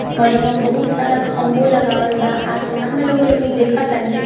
और इ में बहुत सारा खम्बो लगाबल बा | आसमान में रउआ लोग देख तानी।